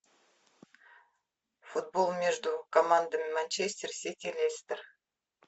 футбол между командами манчестер сити лестер